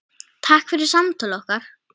Takk fyrir samtöl okkar.